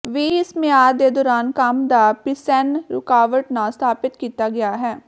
ਵੀ ਇਸ ਮਿਆਦ ਦੇ ਦੌਰਾਨ ਕੰਮ ਦਾ ਪਿੇਸੈਨਿਿ ਰੁਕਾਵਟ ਨਾ ਸਥਾਪਿਤ ਕੀਤਾ ਗਿਆ ਹੈ